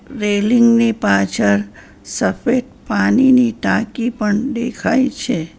Railing ની પાછર સફેદ પાનીની ટાંકી પણ દેખાય છે.